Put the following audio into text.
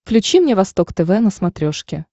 включи мне восток тв на смотрешке